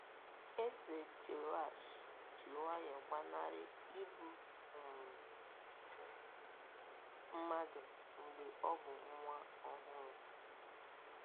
Eze Jehoashi ji nwayọọ gbanarị igbu um mmadụ mgbe ọ bụ nwa ọhụrụ.